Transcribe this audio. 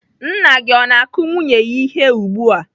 Nna gị o na-akụ nwunye ya ihe ugbu a?